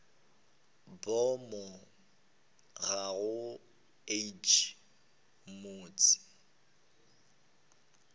boomo ga bo age motse